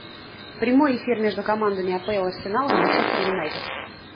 прямой эфир между командами апл арсенал и манчестер юнайтед